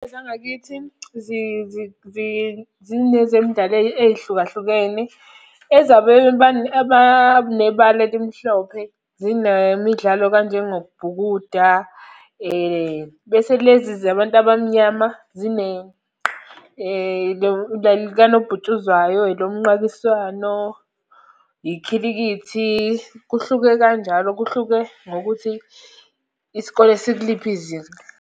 Ezangakithi zinezemidlalo ey'hlukahlukene. Ezabebani, abanebala elimhlophe, zinemidlalo kanjengokubhukuda, bese lezi zabantu abamnyama zine likanobhutshuzwayo, elo mnqakiswano, ikhilikithi. Kuhluke kanjalo kuhluke ngokuthi isikole sikuliphi izinga.